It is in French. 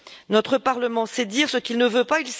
Notre Parlement sait dire ce qu'il ne veut pas.